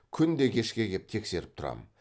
күнде кешке кеп тексеріп тұрамын